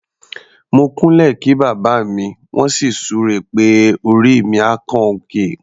Mo kúnlẹ̀ kí bàbá mi, wọ́n sì súre pé "orí mi á kan òkè".